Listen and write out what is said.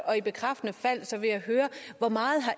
og i bekræftende fald vil jeg høre hvor meget